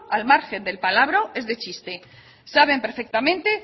al margen del palabro es de chiste saben perfectamente